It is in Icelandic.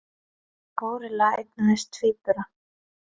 Górilla eignaðist tvíbura